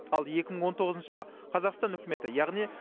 ал екі мың он тоғызыншы жылы қазақстан үкіметі яғни